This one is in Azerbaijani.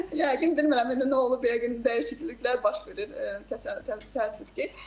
Yəqin bilmirəm, indi nə olub yəqin dəyişikliklər baş verir, təəssüf ki.